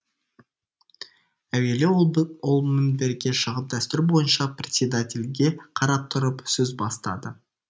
әуелі ол мінберге шығып дәстүр бойынша председательге қарап тұрып сөз бастады